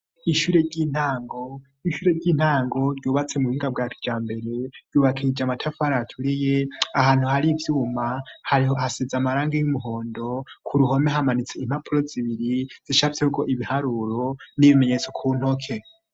Ishure ry'intango ryubatse mu buhinga bwakijambere ryubakishije amatafari aturiye, ahantu hari ivyuma hari hasize amarangi y'umuhondo ku ruhome hamanitse impapuro zibiri zicafyeko ibiharuro n'ibimenyetso ku ntoke.